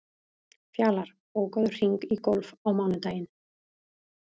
Fjalar, bókaðu hring í golf á mánudaginn.